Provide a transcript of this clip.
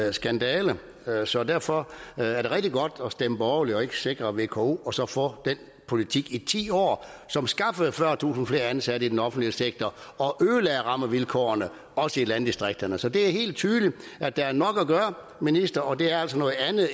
en skandale så derfor er det rigtig godt at stemme borgerligt og ikke sikre vko et og så få den politik i ti år som skaffede fyrretusind flere ansatte i den offentlige sektor og ødelagde rammevilkårene også i landdistrikterne så det er helt tydeligt at der er nok at gøre minister og det er altså noget andet